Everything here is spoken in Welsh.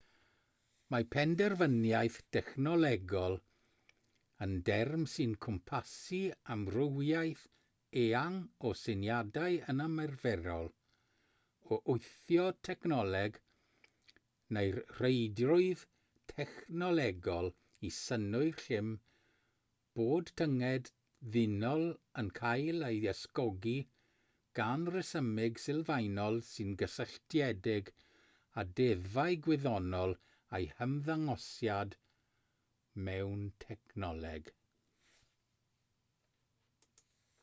mae penderfyniaeth dechnolegol yn derm sy'n cwmpasu amrywiaeth eang o syniadau yn ymarferol o wthio technoleg neu'r rheidrwydd technolegol i synnwyr llym bod tynged ddynol yn cael ei ysgogi gan resymeg sylfaenol sy'n gysylltiedig â deddfau gwyddonol a'u hymddangosiad mewn technoleg